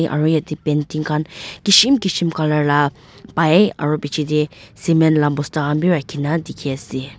aro yete painting kan kishim kishim color la pai aro biji de cement la bosta kan b raki na diki ase.